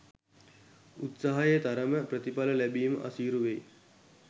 උත්සාහයේ තරමට ප්‍රතිඵල ලැබිම අසීරු වෙයි